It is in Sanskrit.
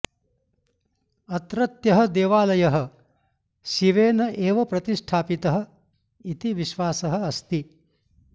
अत्रत्यः देवालयः शिवेन एव प्रतिष्ठापितः इति विश्वासः अस्ति